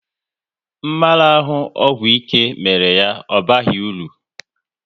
Mmarahu ọgwụ ike mere ya ọ baghị uru